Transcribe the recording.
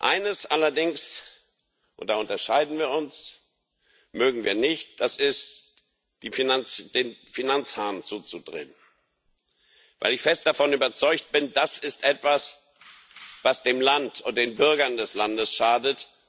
Eines allerdings und da unterscheiden wir uns mögen wir nicht, nämlich, den Finanzhahn zuzudrehen, weil ich fest davon überzeugt bin Das ist etwas, was dem Land und den Bürgern des Landes schadet.